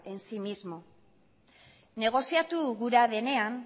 en sí mismo negoziatu gura denean